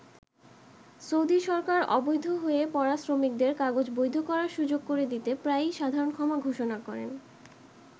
Saudi সরকার অবৈধ হয়ে পড়া শ্রমিকদের কাগজ বৈধ করার সুযোগ করে দিতে প্রায়ই সাধারণ ক্ষমা ঘোষণা করেন।